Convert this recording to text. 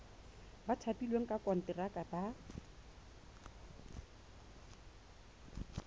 ba thapilweng ka konteraka ba